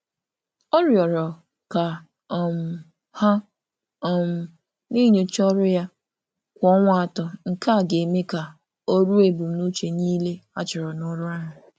Ọ rịọrọ ka a na-enyochakwa ọrụ ya kwa ọrụ ya kwa ọnwa atọ ka ọ na-eruru ebumnuche ọrụ ya dị ogologo.